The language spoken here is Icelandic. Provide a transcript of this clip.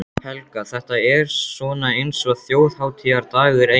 Helga: Þetta er svona eins og þjóðhátíðardagur, eiginlega?